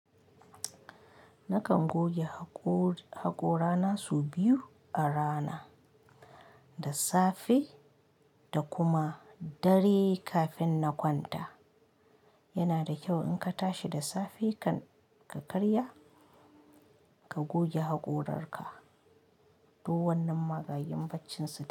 Nakan goge haƙo-haƙora na su biyu a rana, da safe da kuma dare kafin na kwanta. Yana da kyau in ka tashi da safe ka karya ka goge haƙorarka, duk wannan maganin bacci su.